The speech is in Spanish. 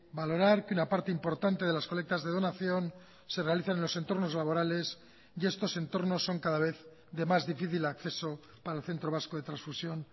valorar que una parte importante de las colectas de donación se realizan en los entornos laborales y estos entornos son cada vez de más difícil acceso para el centro vasco de transfusión